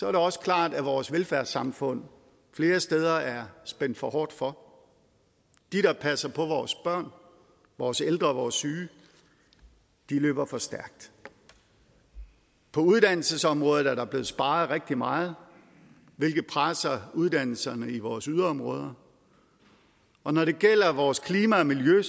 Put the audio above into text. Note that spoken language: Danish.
er det også klart at vores velfærdssamfund flere steder er spændt for hårdt for de der passer på vores børn vores ældre og vores syge løber for stærkt på uddannelsesområdet er der blevet sparet rigtig meget hvilket presser uddannelserne i vores yderområder og når det gælder vores klima og miljø